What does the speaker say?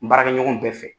N baarakɛ ɲɔgɔn bɛɛ fɛ